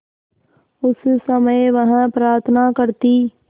उस समय वह प्रार्थना करती